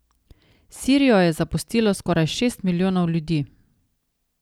Sirijo je zapustilo skoraj šest milijonov ljudi.